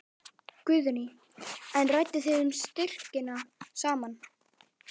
Guðný: En rædduð þið um styrkina saman?